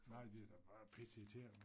Nej det da bare pisse irriterende